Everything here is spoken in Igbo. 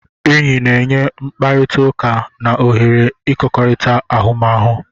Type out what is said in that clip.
Enyi na-enye mkpakọrịta na ohere ịkọkorita ahụmahụ.